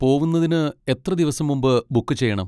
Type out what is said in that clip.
പോവുന്നതിന് എത്ര ദിവസം മുമ്പ് ബുക്ക് ചെയ്യണം?